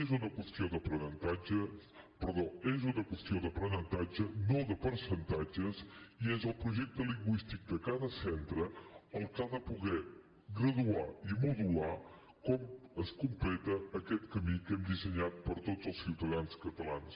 és una qüestió d’aprenentatge no de percentatges i és el projecte lingüístic de cada centre el que ha de poder graduar i modular com es completa aquest camí que hem dissenyat per a tots els ciutadans catalans